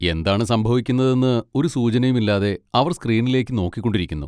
എന്താണ് സംഭവിക്കുന്നതെന്ന് ഒരു സൂചനയും ഇല്ലാതെ അവർ സ്ക്രീനിലേക്ക് നോക്കിക്കൊണ്ടിരിക്കുന്നു.